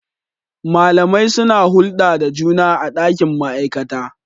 Malamai suna hulɗa da juna a ɗakin ma'aikata.